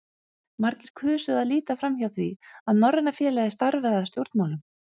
Margir kusu að líta framhjá því, að Norræna félagið starfaði að stjórnmálum.